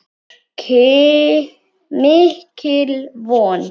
Mikil von.